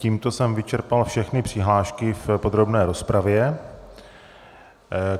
Tímto jsem vyčerpal všechny přihlášky v podrobné rozpravě.